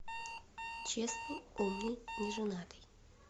честный умный неженатый